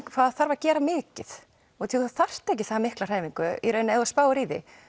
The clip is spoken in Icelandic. hvað þarf að gera mikið þú þarft ekki það mikla hreyfingu ef þú spáir í því